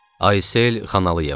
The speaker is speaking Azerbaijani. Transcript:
Aysel Xanəliyeva.